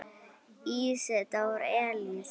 Ísidór Elís.